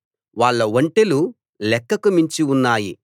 వాళ్ళ ఒంటెలు లెక్కకు మించి ఉన్నాయి